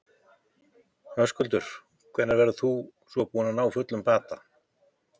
Höskuldur: Hvenær verður þú svona búinn að ná fullum bata?